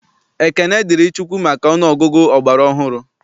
Ekene dịrị Chukwu maka ọnụ ọgụgụ ọgbara ọhụrụ.